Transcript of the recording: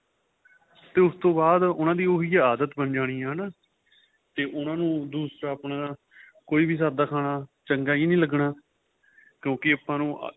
ਤੇ ਉਸ ਤੋ ਬਾਅਦ ਉਹਨਾ ਦੀ ਉਹੀ ਆਦਤ ਬਣ ਜਾਣੀ ਹੈਨਾ ਤੇ ਉਹਨਾ ਨੂੰ ਦੂਸਰਾ ਆਪਣਾ ਕੋਈ ਵੀ ਸਾਧਾ ਖਾਣਾ ਚੰਗਾ ਹੀ ਨਹੀਂ ਲੱਗਣਾ ਕਿਉਂਕਿ ਆਪਾਂ ਨੂੰ